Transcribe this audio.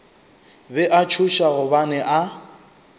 be a tšhoša gobane a